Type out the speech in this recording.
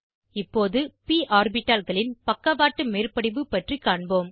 இப்போது ப் ஆர்பிட்டால்களின் பக்கவாட்டு மேற்படிவு பற்றி காண்போம்